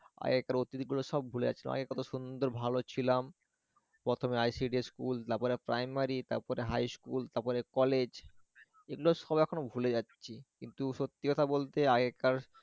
আগেকার অতীতগুলো সব ভুলে যাচ্ছিলাম আগে কত সুন্দর ভালো ছিলাম, প্রথমে ICDS school তারপরে primary তারপরে high school তারপর college এগুলো সব এখন বলে যাচ্ছি কিন্তু সত্যি কথা বলতে আগেকার